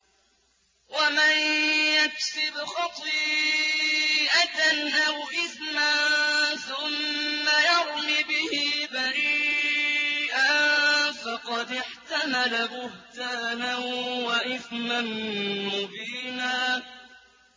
وَمَن يَكْسِبْ خَطِيئَةً أَوْ إِثْمًا ثُمَّ يَرْمِ بِهِ بَرِيئًا فَقَدِ احْتَمَلَ بُهْتَانًا وَإِثْمًا مُّبِينًا